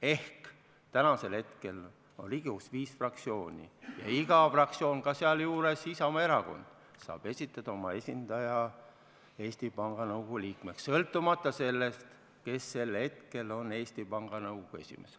Ehk täna on Riigikogus viis fraktsiooni ja iga fraktsioon, sealjuures ka Isamaa Erakond, saab esitada oma esindaja Eesti Panga Nõukogu liikmeks, sõltumata sellest, kes sel hetkel on Eesti Panga Nõukogu esimees.